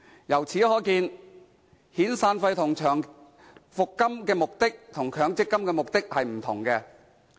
由此可見，遣散費及長期服務金與強積金的目的各有不同。